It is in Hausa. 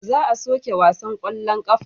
Za a soke wasan kwallon kafa.